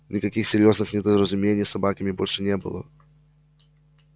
никаких серьёзных недоразумений с собаками больше не было